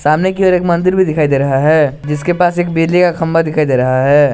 सामने की और एक मंदिर भी दिखाई दे रहा है जिसके पास एक बिजली का खंबा दिखाई दे रहा है।